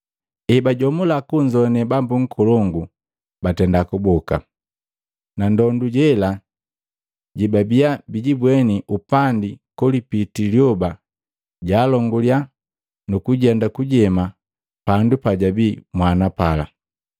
Ebajomula kunzoane bambu nkolongu batenda kuboka. Na ndondu jela jebabiya bijibweni upandi kolipitii lyoba jaalongulikiya nukujenda kujema pandu pajabii mwana pala.